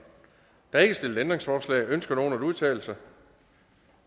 er ikke stillet ændringsforslag ønsker nogen at udtale sig